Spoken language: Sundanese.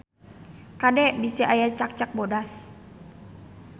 Kade bisi aya cakcak bodas